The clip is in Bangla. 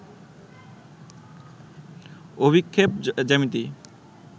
অভিক্ষেপ জ্যামিতি